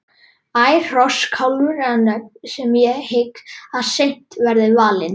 Ær, Hross, Kálfur eru nöfn sem ég hygg að seint verði valin.